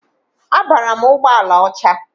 Abara m ụgbọala ọcha.